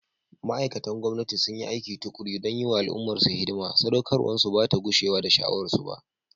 Ma’aikatan gwamnati sun yi aiki tukuru don yi wa al’ummarsu hidima, saɗaukarwarsu ba ta gushewa da sha’awarsu ba.